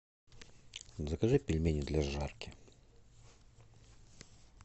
закажи пельмени для жарки